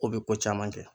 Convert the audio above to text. Ko bɛ ko caman kɛ